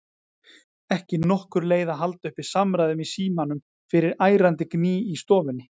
Ekki nokkur leið að halda uppi samræðum í símanum fyrir ærandi gný í stofunni.